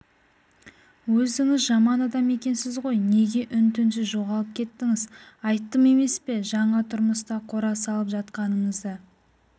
өзіңіз жаман адам екенсіз ғой неге үн-түнсіз жоғалып кеттіңіз айттым емес пе жаңа тұрмыста қора салып жатқанымызды